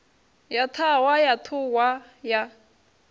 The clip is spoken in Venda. ya ṱhahwa ya ṱhuhwa ya